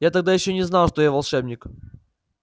я тогда ещё не знал что я волшебник